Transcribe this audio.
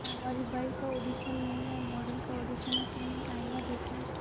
कामवाली बाई का ऑडिशन नहीं है मॉडल का ऑडिशन है तुमने आईना देखा है